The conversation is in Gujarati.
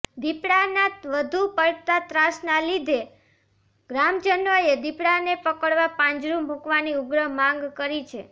દીપડાના વધુ પડતા ત્રાસના લીધે ગ્રામજનોએ દીપડાને પકડવા પાંજરું મુકવાની ઉગ્ર માંગ કરી છે